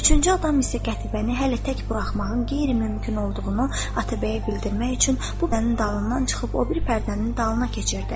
Üçüncü adam isə Qətibəni hələ tək buraxmağın qeyri-mümkün olduğunu Atabəyə bildirmək üçün bu pərdənin dalından çıxıb o biri pərdənin dalına keçirdi.